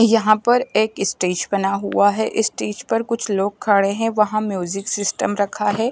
यहाँ पर एक स्टेज बना हुआ है इस स्टेज पर कुछ लोग खड़े है वहा म्यूजिक सिस्टम रखा है।